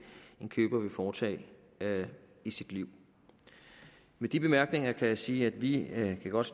en køber vil foretage i sit liv med de bemærkninger kan jeg sige at vi godt